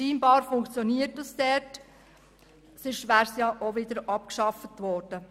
Scheinbar funktioniert dies, ansonsten wäre es bereits abgeschafft worden.